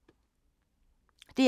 DR P3